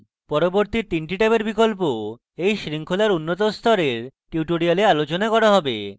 পরবর্তী 3 the tabs বিকল্প এই শৃঙ্খলার উন্নত স্তরের tutorials আলোচনা করা হবে